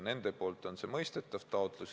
Nende poolt on see mõistetav taotlus.